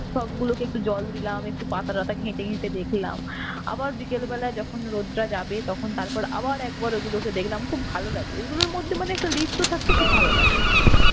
সব গুলোকে একটু জল দিলাম একটু পাতাটাতা ঘেটে ঘেটে দেখলাম. আবার বিকালবেলায় যখন রোদটা যাবে তখন তারপর আবার একবার ওগুলোকে দেখলাম খুব ভালো লাগে. ঐগুলোর মধ্যে মানে একটা লিপ্ত থাকতে খুব ভালো লাগে.